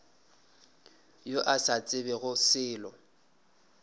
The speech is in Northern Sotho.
yo a sa tsebego selo